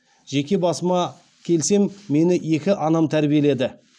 жеке басыма келсем мені екі анам тәрбиеледі